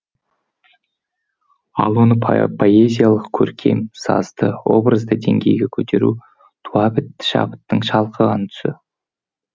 ал оны поэзиялық көркем сазды образды деңгейге көтеру туабітті шабыттың шалқыған тұсы